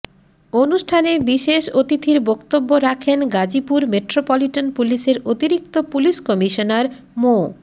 অনুষ্ঠানে বিশেষ অতিথির বক্তব্য রাখেন গাজীপুর মেট্রোপলিটন পুলিশের অতিরিক্ত পুলিশ কমিশনার মো